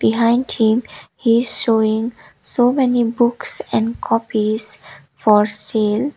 behind him he is showing so many books and copies for sale.